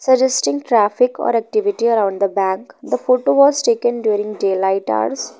suggesting traffic or activity around the bank the photo was taken during daylight hours.